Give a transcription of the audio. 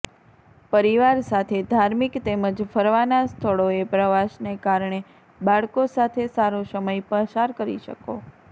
પરિવાર સાથે ધાર્મિક તેમજ ફરવાનાં સ્થળોએ પ્રવાસને કારણે બાળકો સાથે સારો સમય પસાર કરી શકો